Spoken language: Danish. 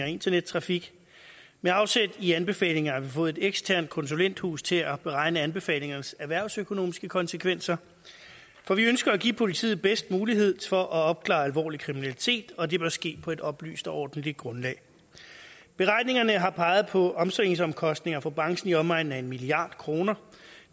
internettrafik med afsæt i anbefalingerne fået et eksternt konsulenthus til at beregne anbefalingernes erhvervsøkonomiske konsekvenser for vi ønsker at give politiet den bedste mulighed for at opklare alvorlig kriminalitet og det bør ske på et oplyst og ordentligt grundlag beregningerne har peget på omstillingsomkostninger for branchen i omegnen af en milliard kroner